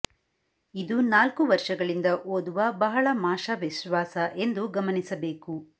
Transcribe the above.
ಇದು ನಾಲ್ಕು ವರ್ಷಗಳಿಂದ ಓದುವ ಬಹಳ ಮಾಷ ವಿಶ್ವಾಸ ಎಂದು ಗಮನಿಸಬೇಕು